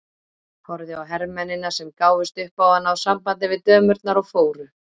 Horfði á hermennina sem gáfust upp á að ná sambandi við dömurnar og fóru.